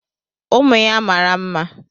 Ụmụ ya mara mma.